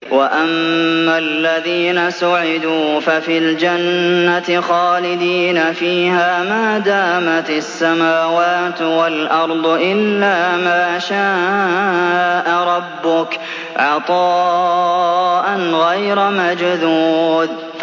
۞ وَأَمَّا الَّذِينَ سُعِدُوا فَفِي الْجَنَّةِ خَالِدِينَ فِيهَا مَا دَامَتِ السَّمَاوَاتُ وَالْأَرْضُ إِلَّا مَا شَاءَ رَبُّكَ ۖ عَطَاءً غَيْرَ مَجْذُوذٍ